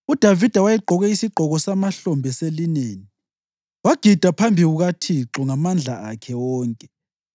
UDavida wayegqoke isigqoko samahlombe selineni, wagida phambi kukaThixo ngamandla akhe wonke,